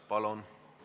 Palun!